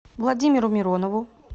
владимиру миронову